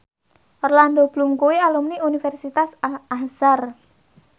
Orlando Bloom kuwi alumni Universitas Al Azhar